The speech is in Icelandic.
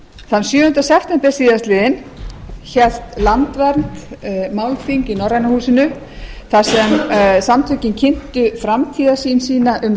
þann sjöunda september síðastliðinn hélt landvernd málþing í norræna húsinu þar sem samtökin kynntu framtíðarsýn sína um